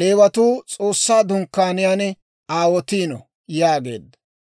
Leewatuu S'oossaa Dunkkaaniyaan aawotino» yaageedda.